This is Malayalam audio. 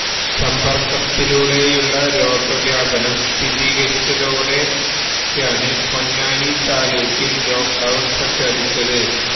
സമ്പര്ക്കത്തിലൂടെയുള്ള രോഗവ്യാപനം സ്ഥിരീകരിച്ചതോടെയാണ് പൊന്നാനി താലൂക്കില് ലോക്ക് ഡൌണ് പ്രഖ്യാപിച്ചത്